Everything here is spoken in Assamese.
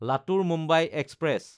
লাতুৰ–মুম্বাই এক্সপ্ৰেছ